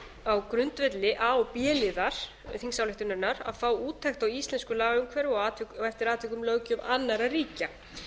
á grundvelli a og b liðar þingsályktunarinnar að fá úttekt á íslensku lagaumhverfi og eftir atvikum löggjöf annarra ríkja